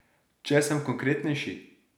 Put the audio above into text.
Če sem konkretnejši.